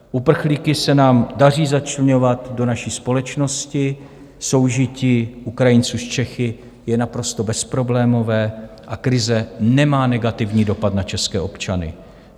Uprchlíky se nám daří začleňovat do naší společnosti, soužití Ukrajinců s Čechy je naprosto bezproblémové a krize nemá negativní dopad na české občany.